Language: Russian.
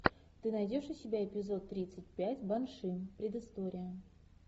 ты найдешь у себя эпизод тридцать пять банши предыстория